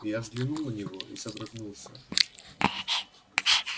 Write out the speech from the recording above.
я взглянул на него и содрогнулся